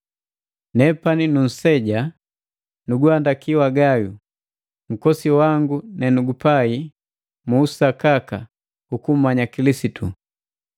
Nepani nunseja, nuguhandaki wa Gayo, nkosi wangu nenugupai mu usakaka ukummanya Kilisitu.